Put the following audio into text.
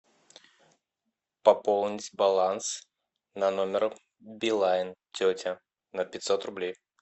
пополнить баланс на номер билайн тетя на пятьсот рублей